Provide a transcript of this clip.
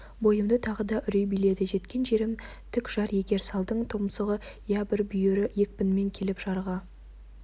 бойымды тағы да үрей биледі жеткен жерім тік жар егер салдың тұмсығы я бір бүйірі екпінімен келіп жарға